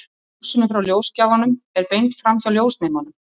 Ljósinu frá ljósgjafanum er beint framhjá ljósnemanum.